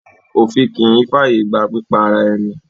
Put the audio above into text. Òfin kì í ń fàyègba pípa ara-ẹni.